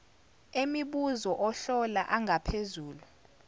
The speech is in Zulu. emibuzo ohlolo angaphezulu